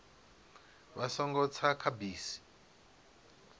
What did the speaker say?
vha songo tsa kha bisi